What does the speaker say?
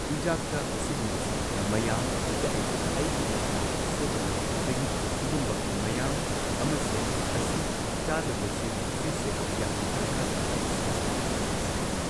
ꯆꯤꯟꯖꯥꯛꯇ ꯑꯁꯤꯒꯨꯝꯕꯁꯦ ꯃꯌꯥꯝ ꯀꯛꯑꯦ ꯑꯩꯒꯤ ꯈꯅꯥꯎꯗ ꯁꯣꯛꯀꯗꯕ ꯑꯗꯒꯤ ꯁꯤꯒꯨꯝꯕ ꯃꯌꯥꯝ ꯑꯃꯁꯦ ꯑꯁꯤ ꯆꯥꯗꯕꯁꯤ ꯁꯤꯁꯦ ꯌꯥꯝꯅ ꯗꯔꯀꯥꯔ ꯇꯥꯏ ꯏꯁꯩ ꯁꯛꯄꯒꯨꯝꯕ ꯑꯁꯤꯗꯗꯤ